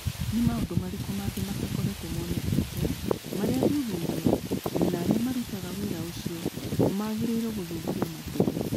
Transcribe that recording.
Nĩ maũndũ marĩkũ mangĩ matakoretwo monekete marĩa athuthuria na arĩa marutaga wĩra ũcio magĩrĩirũo gũthuthuria makĩria?